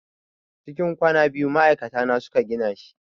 Cikin kwana biyu ma'aikata na su ka gina shi.